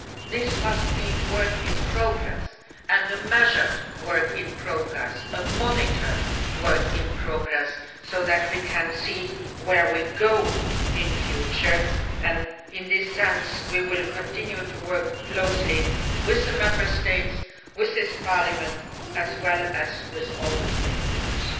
this must be a work in progress and a measured work in progress, a monitored work in progress, so that we can see where we are going in future and, in this regard, we will continue to work closely with the Member States and with this Parliament, as well as with all the stakeholders.